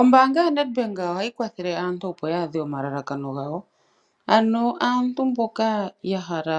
Ombaanga yo NedBank ohayi kwathele aantu opo ya adhe omalalakano gawo. Ano aantu mboka ya hala